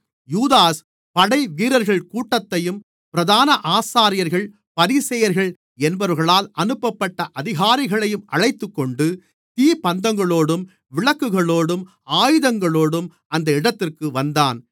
யூதாஸ் படைவீரர்கள் கூட்டத்தையும் பிரதான ஆசாரியர்கள் பரிசேயர்கள் என்பவர்களால் அனுப்பப்பட்ட அதிகாரிகளையும் அழைத்துக்கொண்டு தீ பந்தங்களோடும் விளக்குகளோடும் ஆயுதங்களோடும் அந்த இடத்திற்கு வந்தான்